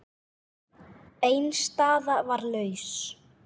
Ein staða var laus.